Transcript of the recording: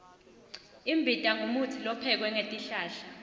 imbita ngumutsi lophekwe ngetihlahla